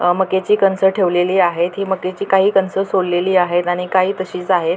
अ मक्याची कणसे ठेवलेली आहेत ही मक्याची काही कणसे सोललेली आहेत आणि काही तशीच आहेत.